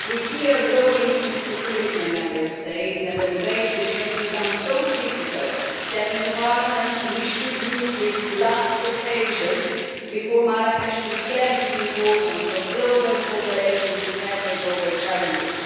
We see growing insecurity in Member States and a debate which has become so critical that in Parliament, we should use this last occasion before Marrakesh to stress the importance of global cooperation to tackle global challenges.